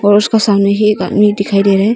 और उसका सामने ही एक आदमी दिखाई दे रहा है।